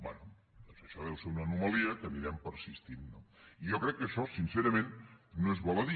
bé doncs això deu ser una anomalia que anirem persistint no jo crec que això sincerament no és baladí